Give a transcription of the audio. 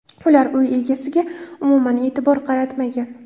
Ular uy egasiga umuman e’tibor qaratmagan.